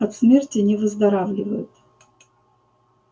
от смерти не выздоравливают